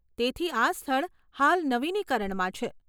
તેથી આ સ્થળ હાલ નવીનીકરણમાં છે.